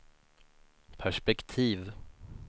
perspektiv